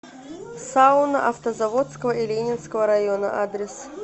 сауны автозаводского и ленинского района адрес